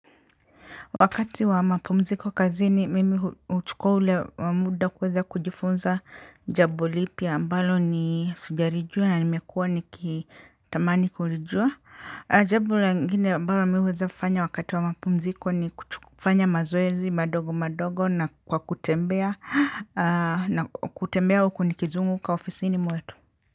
Wakati wa mapumziko kazini mimi huchukua ule muda kuweza kujifunza jambo lipya ambalo ni sijalijua na nimekua nikitamani kulijua. Jambo lingine ambalo nimeweza kufanya wakati wa mapumziko ni kufanya mazoezi madogo madogo na kwa kutembea na kutembea huku nikizunguka ofisini mwetu.